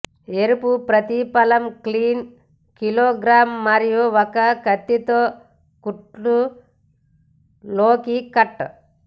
ఎరుపు ప్రతిఫలం clean kilogram మరియు ఒక కత్తితో కుట్లు లోకి కట్